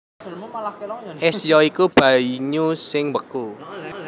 Ès ya iku banyu sing mbeku